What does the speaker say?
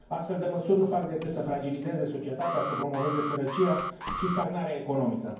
Astfel de măsuri nu fac decât să fragilizeze societatea, să promoveze sărăcia și stagnarea economică.